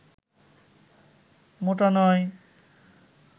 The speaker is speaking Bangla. মোটা নয়